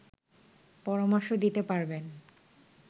পরামর্শ দিতে পারবেন